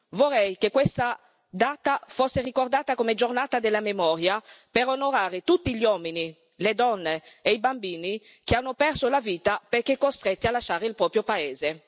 Vorrei che questa data fosse ricordata come Giornata della memoria per onorare tutti gli uomini, le donne e i bambini che hanno perso la vita perché costretti a lasciare il proprio paese.